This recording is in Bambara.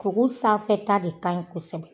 Sogo sanfɛ ta de ka ɲin kosɛbɛ.